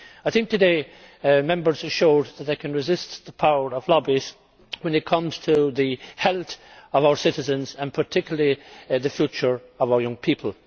I think that today, Members showed that they can resist the power of lobbies when it comes to the health of our citizens and particularly the future of our young people.